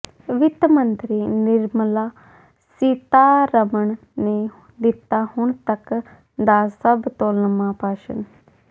ਵਿੱਤ ਮੰਤਰੀ ਨਿਰਮਲਾ ਸੀਤਾਰਮਣ ਨੇ ਦਿੱਤਾ ਹੁਣ ਤਕ ਦਾ ਸਭ ਤੋਂ ਲੰਮਾ ਭਾਸ਼ਣ